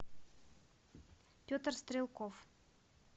петр стрелков